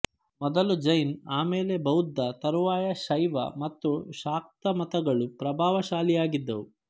ಮೊದಲು ಜೈನ್ ಆಮೇಲೆ ಬೌದ್ಧ ತರುವಾಯ ಶೈವ ಮತ್ತು ಶಾಕ್ತಮತಗಳು ಪ್ರಭಾವಶಾಲಿಯಾಗಿದ್ದುವು